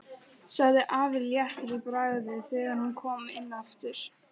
sagði afi léttur í bragði þegar hann kom inn aftur.